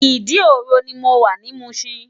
Idi-oro ni mó wá ni Mushin